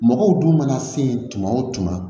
Mɔgɔw dun mana se tuma o tuma